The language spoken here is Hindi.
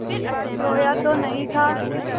रोया तो नहीं था